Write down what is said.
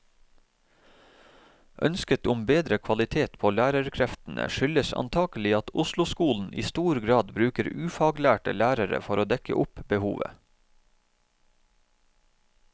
Ønsket om bedre kvalitet på lærerkreftene skyldes antagelig at osloskolen i stor grad bruker ufaglærte lærere for å dekke opp behovet.